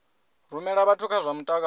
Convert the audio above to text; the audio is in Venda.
rumela vhathu kha zwa mutakalo